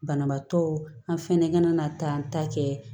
Banabaatɔ an fɛnɛ kana taa an ta kɛ